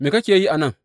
Me kake yi a nan?